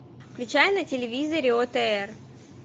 включай на телевизоре отр